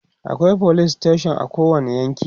akwai police station a kowani yanki